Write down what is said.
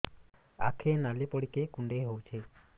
ଆଖି ନାଲି ପଡିକି କୁଣ୍ଡେଇ ହଉଛି